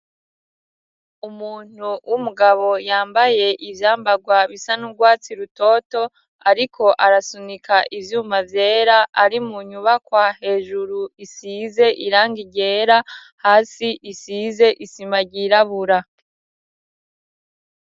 Umuntu w'umugabo yambaye ivyambarwa bisanurwatsi rutoto ariko arasunika ivyuma vyera ari mu nyubaka hejuru isize irangi ryera hasi isize isima ryirabura.